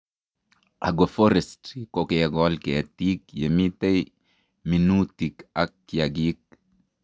Agroforestry ko kekol ketik yemitei minutik ak kiagik